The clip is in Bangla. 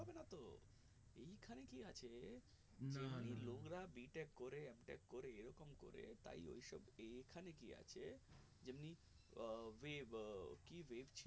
b tech করে m tech করে এইরকম করে তাই ওইসব এইখানে কি আছে যেমনি আহ web আহ কি web ছিল